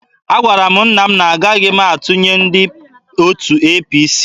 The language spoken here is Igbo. Agwara m nna m na-agaghị m atụnyere ndị otu APC.